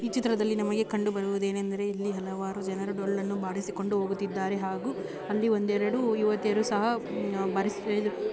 ಈ ಚಿತ್ರದಲ್ಲಿ ನಮಗೆ ಕಂಡು ಬರುವುದು ಏನೆಂದರೆ ಇಲ್ಲಿ ಹಲವಾರು ಜನರು ಡೊಳ್ಳನ್ನು ಬಾರಿಸಿಕೊಂಡು ಹೋಗುತ್ತಿದ್ದಾರೆ ಹಾಗೂ ಅಲ್ಲಿ ಒಂದೆರಡು ಯುವತಿಯರು ಸಹ ಬಾರಿಸ್ --